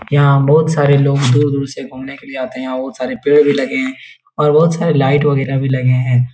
यहां बोहोत सारे लोग दूर-दूर से घुमने के लिये आते हैं। बोहोत सारे पेड़ भी लगे हैं और बोहोत सारे लाइट वगरे भी लगे हैं।